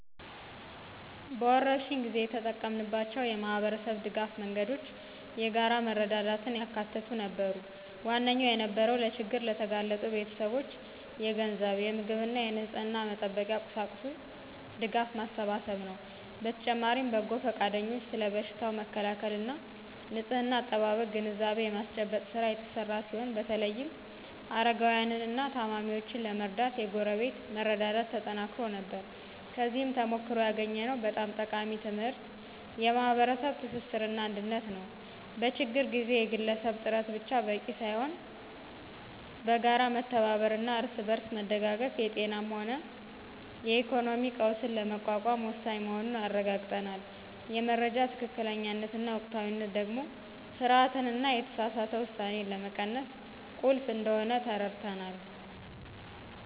በወረርሽኝ ጊዜ የተጠቀምናቸው የማኅበረሰብ ድጋፍ መንገዶች የጋራ መረዳዳትን ያካተቱ ነበሩ። ዋነኛው የነበረው ለችግር ለተጋለጡ ቤተሰቦች የገንዘብ፣ የምግብና የንጽሕና መጠበቂያ ቁሳቁስ ድጋፍ ማሰባሰብ ነው። በተጨማሪም በጎ ፈቃደኞች ስለ በሽታው መከላከልና ንጽሕና አጠባበቅ ግንዛቤ የማስጨበጥ ሥራ የተሰራ ሲሆን በተለይም አረጋውያንንና ታማሚዎችን ለመርዳት የጎረቤት መረዳዳት ተጠናክሮ ነበር። ከዚህ ተሞክሮ ያገኘነው በጣም ጠቃሚ ትምህርት የማኅበረሰብ ትስስርና አንድነት ነው። በችግር ጊዜ የግለሰብ ጥረት ብቻ በቂ ሳይሆን በጋራ መተባበርና እርስ በርስ መደጋገፍ የጤናም ሆነ የኢኮኖሚ ቀውስን ለመቋቋም ወሳኝ መሆኑን አረጋግጠናል። የመረጃ ትክክለኛነትና ወቅታዊነት ደግሞ ፍርሃትንና የተሳሳተ ውሳኔን ለመቀነስ ቁልፍ እንደሆነ ተረድተናል።